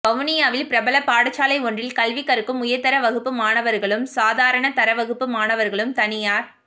வவுனியாவில் பிரபல பாடசாலை ஒன்றில் கல்வி கற்கும் உயர்தர வகுப்பு மாணவர்களும் சாதாரணதர வகுப்பு மாணவர்களும் தனியார்